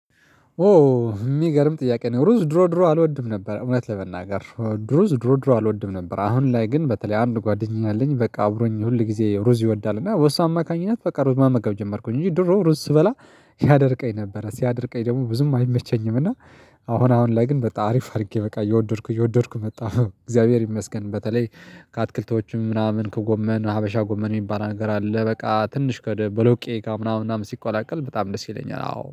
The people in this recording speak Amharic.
ኦ የሚገርም ጥያቄ ነው። ሩዝ ድሮ ድሮ አልወድም ነበር እውነት ለመናገር ሩዝ ድሮ ድሮ አልወድም ነበር። አሁን ላይ ግን በተለይ አንድ ጓደኛ አለኝ በቃ አብሮኝ ሁል ጊዜ ሩዝ ይወዳል። እና በሱ አማካኝነት በቃ ሩዝ መመገብ ጀመርኩኝ እንጂ ድሮ ሩዝ ስበላ ያደርቀኝ ነበረ ሲያደርቀኝ ደግሞ ብዙም አይመቸኝም። እና አሁን አሁን ላይ ግን በቃ አሪፍ አድርጌ በቃ እየወደድኩ የወደድኩ መጣ እግዚአብሔር ይመስገን። በተለይ ከአትክልቶቹም ምናምን ከጎመን ሀበሻ ጎመን የሚባል ነገር አለ በቃ ትንሽ ከቦሎቄ ከምናምን ሲቋላቀል በጣም ደስ ይለኛል አዎ